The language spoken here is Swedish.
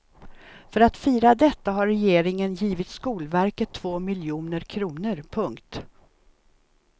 För att fira detta har regeringen givit skolverket två miljoner kronor. punkt